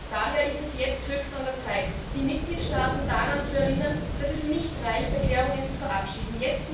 Daher ist es jetzt höchst an der Zeit, die Mitgliedstaaten daran zu erinnern, dass es nicht reicht, Erklärungen zu verabschieden.